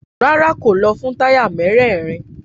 Rárá, kò lọ fún táyà mérèèrin.